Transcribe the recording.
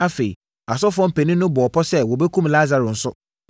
Afei, asɔfoɔ mpanin no bɔɔ pɔ sɛ wɔbɛkum Lasaro nso,